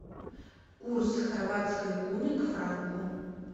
курс хорватской куны к франку